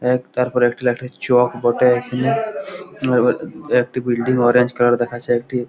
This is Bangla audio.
এক তারপরে একটি একটি চক বটে হুম আবল একটি বিল্ডিং অরেঞ্জ কালার দেখাচ্ছে একটি--